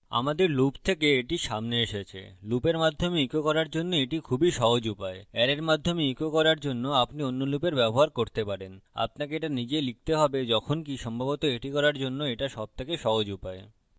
আমাদের loop থেকে এটি সামনে এসেছে লুপের মাধ্যমে echo করার জন্য এটি খুবই সহজ উপায় অ্যারের মাধ্যমে echo করার জন্য আপনি অন্য লুপের ব্যবহার করতে পারেন আপনাকে এটা নিজে লিখতে have যখনকি সম্ভবত এটি করার জন্য এটা সবথেকে সহজ উপায়